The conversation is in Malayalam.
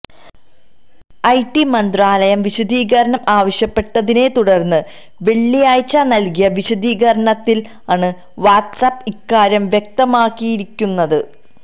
ഐടി മന്ത്രാലയം വിശദീകരണം ആവശ്യപ്പെട്ടതിനെ തുടര്ന്ന് വെള്ളിയാഴ്ച നല്കിയ വിശദീകരണത്തില് ആണ് വാട്സ് ആപ്പ് ഇക്കാര്യം വ്യക്തമാക്കിയിരിക്കുന്നത്